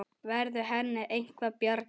Verður henni eitthvað bjargað?